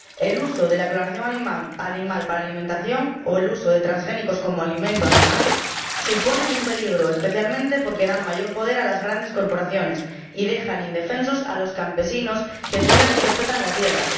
El uso de la clonación animal para alimentación o el uso de transgénicos como alimento animal suponen un peligro, especialmente porque dan mayor poder a las grandes corporaciones y dejan indefensos a los campesinos que cuidan y respetan la tierra.